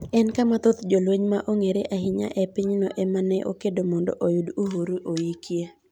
En kama thoth jolweny ma ong'ere ahinya e pinyno ema ne okedo mondo oyud uhuru oikie.